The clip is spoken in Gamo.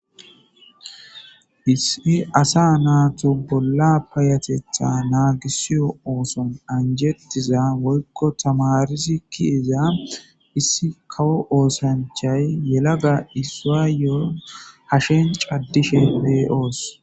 Issi asa naatu bolla payyatetha naagisiyo ooson anjjetiza woykko tamaari ke'iza issi kawo osanchchay yelagay issuwayo hashen caddishin be'oos.